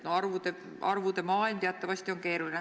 No arvude maailm teatavasti on keeruline.